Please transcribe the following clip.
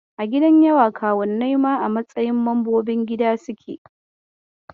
A gidan yawa, kawunnai ma a matsayin mambobin gida suke.